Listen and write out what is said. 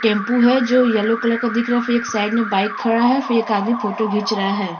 Tempo है जो yellow colour का दिख रहा है फिर एक साइड में बाइक खड़ा है फिर एक आदमी फोटो खींच रहा है।